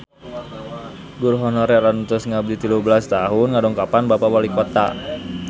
Guru honorer anu tos ngabdi tilu belas tahun ngadongkapan Bapak Walikota